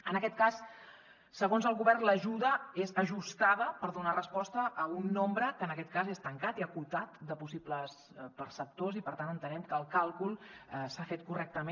en aquest cas segons el govern l’ajuda és ajustada per donar resposta a un nombre que en aquest cas és tancat i acotat de possibles perceptors i per tant entenem que el càlcul s’ha fet correctament